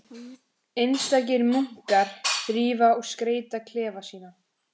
Einstakir munkar þrífa og skreyta klefa sína.